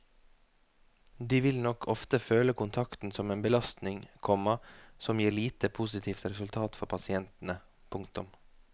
De vil nok ofte føle kontakten som en belastning, komma som gir lite positivt resultat for pasientene. punktum